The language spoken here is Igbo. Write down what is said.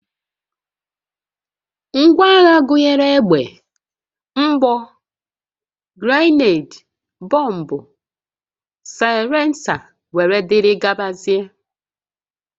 Ngwaagha gụnyere egbe, mgbọ, grenade, bọmbụ, saịlensa, wdg